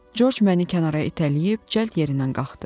Corc məni kənara itələyib cəld yerindən qalxdı.